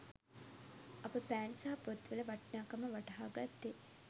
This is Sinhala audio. අප පෑන් සහ පොත්වල වටිනාකම වටහා ගත්තේ